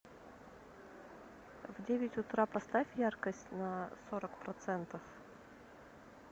в девять утра поставь яркость на сорок процентов